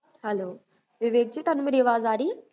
hello Vivek ji ਤੁਹਾਨੂ ਮੇਰੀ ਆਵਾਜ ਆ ਰਹੀ ਹੈ?